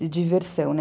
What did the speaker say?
de diversão, né?